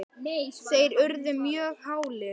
þeir urðu mjög hálir.